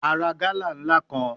A ra gala nla kan